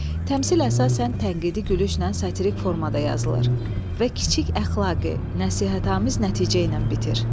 Təmsil əsasən tənqidi gülüşlə satirik formada yazılır və kiçik əxlaqi, nəsihətamiz nəticə ilə bitir.